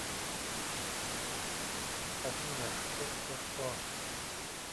афина что что что